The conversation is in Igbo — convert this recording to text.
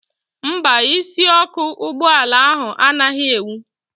Mba, isiọkụ ụgbọala ahụ anaghị enwu